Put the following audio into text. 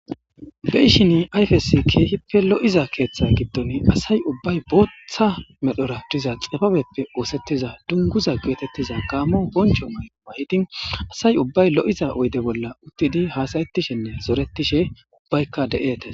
Be7ishin ayfezi keehippe lo7iza keeththa gidon asay ubbay booththa medhora diza xibabeppe ooseththiza dungguza geetetiza gaamo bonchcho mayo mayidi asay ubbay lo7iza oydde bolla uttidi haasayethishenne zorethishe ubaykka de7etees.